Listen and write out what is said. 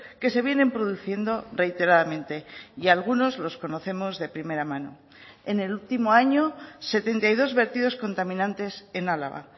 que se vienen produciendo reiteradamente y algunos los conocemos de primera mano en el último año setenta y dos vertidos contaminantes en álava